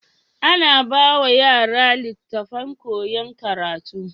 Ana bawa yara litattafan koyan karatu